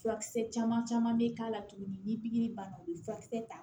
Furakisɛ caman caman bɛ k'a la tuguni ni pikiri banna u bɛ furakisɛ ta